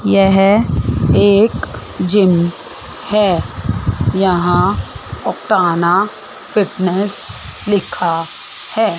यह एक जीम है यहां फिटनेस लिखा है।